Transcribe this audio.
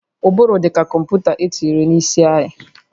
Ụbụrụ dị ka kọmputa etinyere n'isi anyị